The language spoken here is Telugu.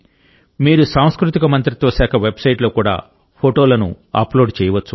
మీరు సాంస్కృతిక మంత్రిత్వ శాఖ వెబ్సైట్లో కూడా ఫోటోలను అప్లోడ్ చేయవచ్చు